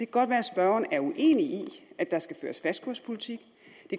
godt være at spørgeren er uenig i at der skal føres fastkurspolitik